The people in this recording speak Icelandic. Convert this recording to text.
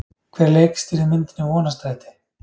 Hver leikstýrði myndinni Vonarstræti?